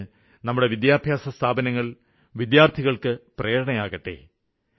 അതിന് നമ്മുടെ വിദ്യാഭ്യാസസ്ഥാപനങ്ങള് വിദ്യാര്ത്ഥികള്ക്ക് പ്രേരണയേകട്ടെ